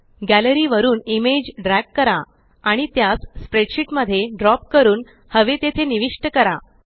gallery वरुन image drag करा आणि त्यास स्प्रेडशीट मध्ये ड्रॉप करून हवे तेथे निविष्ट करा